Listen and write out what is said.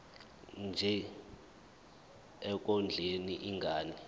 nje ekondleni ingane